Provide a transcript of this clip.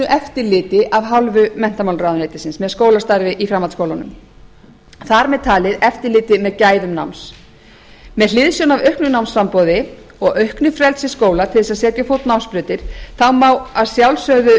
eftirliti af hálfu menntamálaráðuneytisins með skólastarfi í framhaldsskólum þar með talin eftirliti með gæðum náms með hliðsjón af auknu námsframboði og auknu frelsi skóla til að setja á fót námsbrautir má að sjálfsögðu